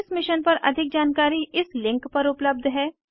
इस मिशन पर अधिक जानकारी इस लिंक पर उपलब्ध है